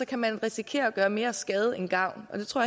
kan man risikere at gøre mere skade end gavn og det tror